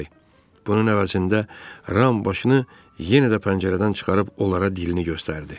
Bunun əvəzində Ram başını yenə də pəncərədən çıxarıb onlara dilini göstərdi.